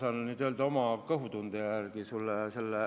Ma saan vastata oma kõhutunde järgi.